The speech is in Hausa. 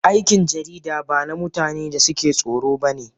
Aikin jarida ba na mutanen da suke tsoro ba ne